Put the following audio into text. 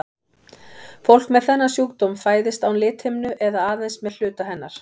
Fólk með þennan sjúkdóm fæðist án lithimnu eða aðeins með hluta hennar.